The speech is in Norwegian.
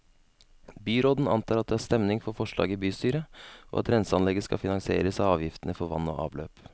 Byråden antar at det er stemning for forslaget i bystyret, og at renseanlegget skal finansieres av avgiftene for vann og avløp.